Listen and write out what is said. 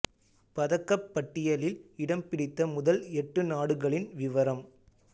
பதக்கப் பட்டியலில் இடம் பிடித்த முதல் எட்டு நாடுகளின் விவரம்